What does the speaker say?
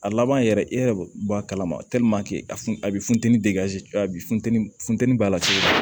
A laban yɛrɛ e yɛrɛ bɔ a kalama a funtɛni bi funteni a bi funteni funteni b'a la cogo di